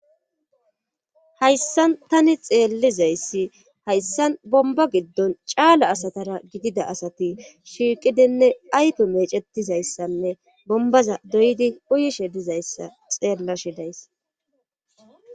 Hayssan tani xeellizayssi hayssan bomba giddon caala asatara gidida asati shiiqidinne ayto meecetizayssanne bombaza doyidi uyishe dizayssa xeella shidays